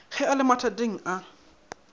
ge a le mathateng a